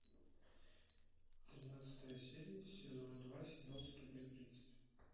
тринадцатая серия сезон два сериал студия тридцать